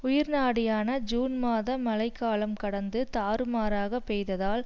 உயிர் நாடியான ஜூன் மாத மழை காலம் கடந்து தாறுமாறாக பெய்ததால்